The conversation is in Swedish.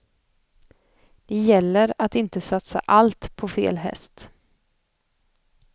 Det gäller att inte satsa allt på fel häst.